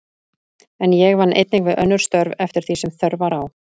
En ég vann einnig við önnur störf, eftir því sem þörf var á.